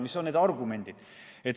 Mis on need argumendid?